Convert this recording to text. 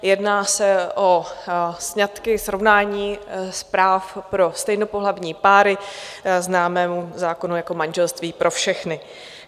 Jedná se o sňatky, srovnání práv pro stejnopohlavní páry, známému zákonu jako manželství pro všechny.